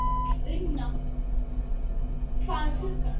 Unna, hvað er klukkan?